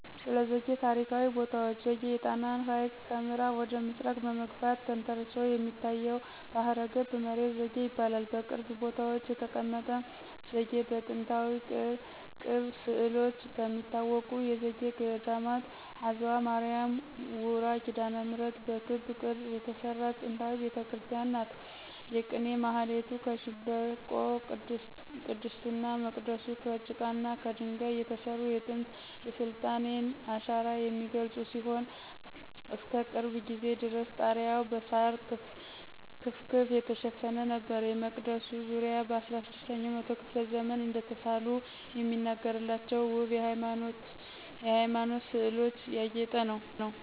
ስለዘጌ ታሪካዊ ቦታዎች ዘጌ የጣናን ሀይቅ ከምአራብ ወደ ምስራቅ በመግፋት ተንሰራፍቶ የሚታየው ባህረገብ መሬት ዘጌ ይባላል። በቅርብ ቦታዎች የተቀመጠ ዘጌ በጥንታዊ ቅብ ስእሎች ከሚታወቁት የዘጌ ገዴማት አዝዋ ማርያ ውራ ኪዳነምህረት በክብ ቅርጽ የተሰራች ጥንታዊ ቤተክርስቲያን ናት። የቅኔ ማህሌቱ ከሸንበቆ :ቅድስቱና መቅደሱ ከጭቃና ከደንጋይ የተሰሩ የጥንት የስልጣኔን አሻራ የሚገልጹ ሲሆን እስከቅርብ ጊዜ ድረስ ጣሪያዉ በሳር ክፍክፍ የተሸፈነ ነበር። የመቅደሱ ዙሪያ በ16 ኛው መቶ ክፍለ ዘመን እደተሳሉ የሚነገርላቸው ወብ የሃይማኖት ስእሎች ያጌጠ ነው።